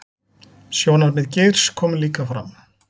Sjónarmið Geirs komi líka fram